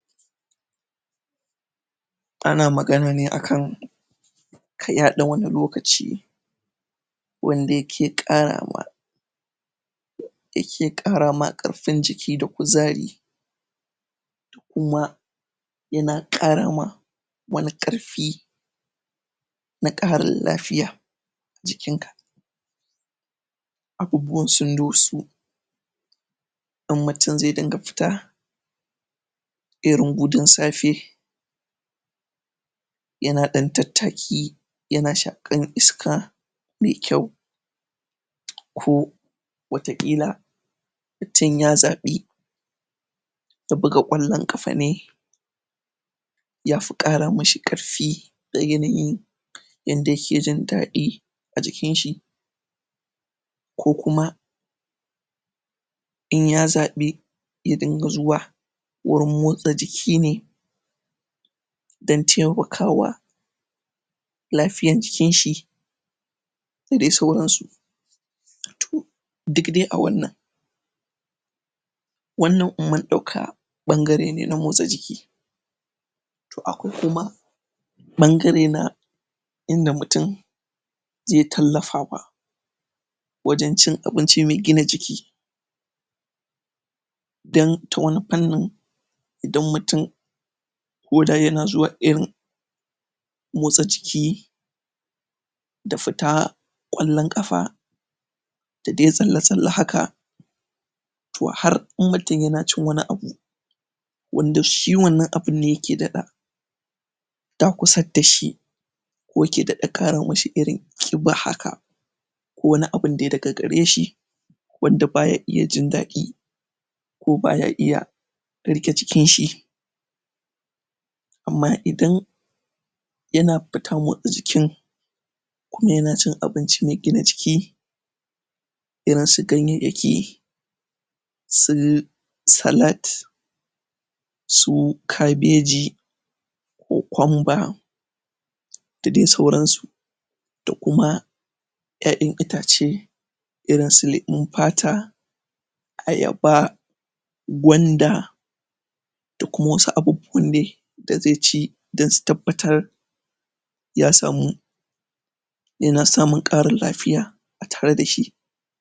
ana magana ne akan iya ɗan wani lokaci wanda yake ƙarawa yake ƙara ma ƙarfin jiki da kuzari kuma yana kara ma wani ƙarfi na ƙarin lafiya jikinka abubuwan sun doso in mutum zai dinga fita irin gudun safe yana ɗan tattaki yana shakar iska me kyau ko wata ƙila mutum ya zabe buga ƙwallan kafa ne yafi ƙara mishi karfi da yanayin yanda yake jindaɗi a jikinshi ko kuma inya zaɓi ya dinga zuwa wurin motsa jikine dan taimakawa lafiyan jikinshi da dai sauransu duk dai a wannan wannan in mun ɗauka ɓangarene na motsa jiki to akwai kuma ɓangare na inda mutum zai tallafawa wajan cin abinci me gina jiki dan ta wani fanni idan mutum ko da yana zuwa irin motsa jiki da fita ƙwallan kafa da dai tsalle tsalle haka to har in mutum yana cin wani abu wanda shi wannan abun ne yake daɗa dakusar dashi ko yake daɗa kara masa irin ƙiba haka ko wani abun dai daga gareshi wanda baya iya jindaɗi ko baya iya riƙe cikinshi amma idan yana fita motsa jikin kuma yanacin abinci me gina jiki irinsu ganyayyaki su salat su kaɓeji cocumber da dai suransu da kuma ƴaƴan itace irinsu lemon fata ayaba gwanda da kuma wasu abubuwan dai da zaici dan su tabbatar ya samu yana samun ƙarin lafiya a tare dashi